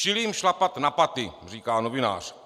Čili jim šlapat na paty?" říká novinář.